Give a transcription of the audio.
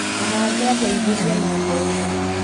Mũgathe angeithirie na mbeca